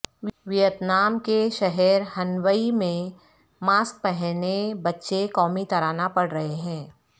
Vietnam کے شہر Hanoi میں ماسک پہنے بچے قومی ترانہ پڑھ رہے ہیں